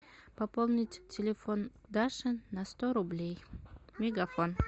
пополнить телефон даши на сто рублей мегафон